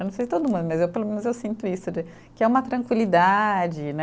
Eu não sei todo mundo, mas eu pelo menos eu sinto isso de, que é uma tranquilidade, né?